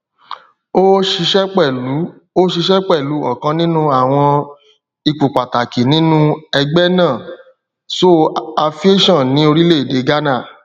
ó ṣiṣẹ pẹlú ó ṣiṣẹ pẹlú ọkan nínú àwọn ipò pàtàkì nínú ẹgbẹ náà so aviation ní orílẹèdè ghánà